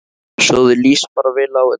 Svo þér líst bara vel á þetta?